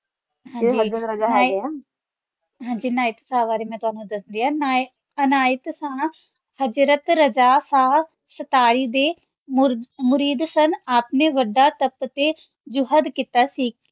ਹਾਂਜੀ ਅਨਾਯਤ ਸ਼ਾਹ ਬਾਰੇ ਮੈਂ ਤੁਵਾਨੁ ਦਸਦੀ ਆਂ ਅਨਾਯਤ ਹਜਰਤ ਰਾਜਾਰ ਸ਼ਾਹ ਸ਼ਤਰੀ ਦੇ ਮੁਰੀਦ ਸਨ ਆਪ ਨੇ ਵਾਦਾ ਟਾਪ ਤੇ ਜੁਹਦ ਕੀਤਾ ਸੀ